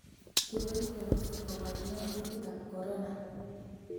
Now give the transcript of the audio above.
Kibois rabisiek koborien gutikab Corona